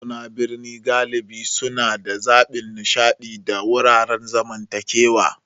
Mazauna birni galibi suna da zaɓin nishaɗi da wuraren zamantakewa.